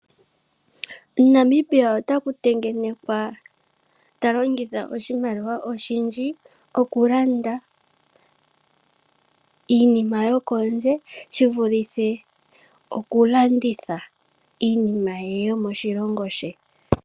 Namibia otaku tengenekwa ta longitha oshimaliwa oshindji oku landa iinima yokondje shivulithe okulanditha iinima ye yomo shilongo she.